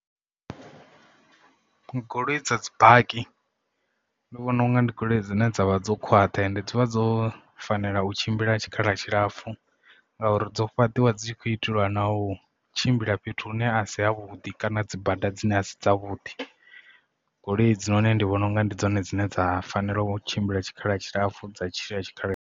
Goloi dza dzi baki ndi vhona unga ndi goloi dzine dza vha dzo khwaṱha ende dzivha dzo fanela u tshimbila tshikhala tshilapfhu ngauri dzo fhaṱiwa dzi khou itelwa na u tshimbila fhethu hune a si havhuḓi kana dzi bada dzine a si dza vhuḓi goloi idzi noni ndi vhona unga ndi dzone dzine dza fanela u tshimbila tshikhala tshilapfhu dza tshila tshikhala.